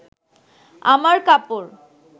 আমার কাপড়